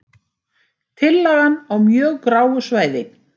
Tillagan á mjög gráu svæði